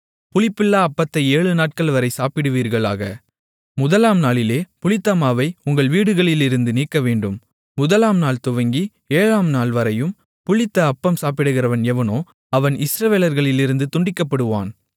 புளிப்பில்லா அப்பத்தை ஏழுநாட்கள்வரை சாப்பிடுவீர்களாக முதலாம் நாளிலே புளித்தமாவை உங்கள் வீடுகளிலிருந்து நீக்கவேண்டும் முதலாம்நாள்துவங்கி ஏழாம் நாள்வரையும் புளித்த அப்பம் சாப்பிடுகிறவன் எவனோ அவன் இஸ்ரவேலர்களிலிருந்து துண்டிக்கப்படுவான்